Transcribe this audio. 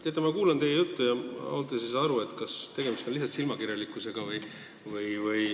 Teate, ma kuulan teie juttu ja ausalt öeldes ei saa aru, kas tegemist on lihtsalt silmakirjalikkusega.